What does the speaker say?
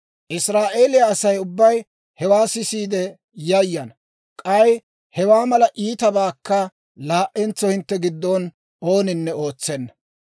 Israa'eeliyaa Asay ubbay hewaa sisiide yayana; k'ay hewaa mala iitabaakka laa"entso hintte giddon ooninne ootsenna.